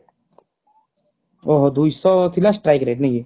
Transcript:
ଓହୋ ଦୁଇଶହ ଥିଲା strike rate ନାଇକି